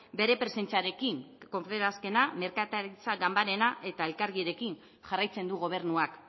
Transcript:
bere presentziarekin confebaskena merkataritza ganbarena eta elkargirekin jarraitzen du gobernuak